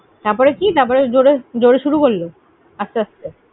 তারপরে কি? তারপরে জোরে শুরু করলো? আস্তে~আস্তে